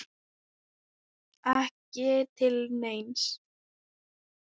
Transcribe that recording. Ekki til neins?